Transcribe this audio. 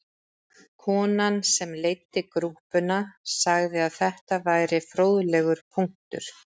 Konan sem leiddi grúppuna sagði að þetta væri fróðlegur punktur